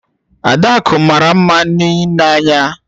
Adaku mara nma n'ile anya